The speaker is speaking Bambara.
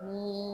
Ni